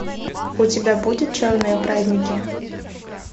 у тебя будет черные праздники